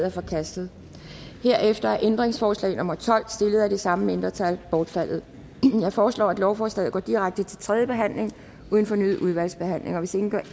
er forkastet herefter er ændringsforslag nummer tolv stillet af det samme mindretal bortfaldet jeg foreslår at lovforslaget går direkte til tredje behandling uden fornyet udvalgsbehandling hvis ingen gør